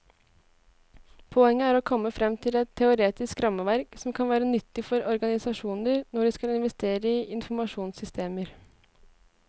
Poenget er å komme frem til et teoretisk rammeverk som kan være nyttig for organisasjoner når de skal investere i informasjonssystemer.